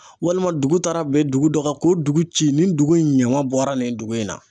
Walima dugu taara bin dugu dɔ kan k'o dugu ci nin dugu in ɲama bɔra nin dugu in na